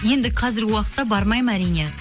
енді қазіргі уақытта бармаймын әрине